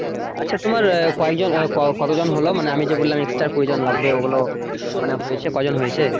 আচ্ছা তোমার কয়জন কত জন হল মানে আমি যে বললাম extra কুড়ি জন লাগবে। ওগুলো মানে হয়েছে মানে কয়জন হয়েছে?